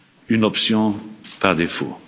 deal une option par défaut.